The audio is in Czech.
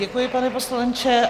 Děkuji, pane poslanče.